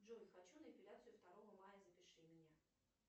джой хочу на эпиляцию второго мая запиши меня